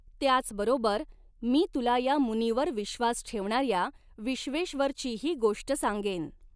त्याचबरोबर मी तुला या मुनीवर विश्वास ठेवणार्या विश्वेश्वरचीही गोष्ट सांगेन.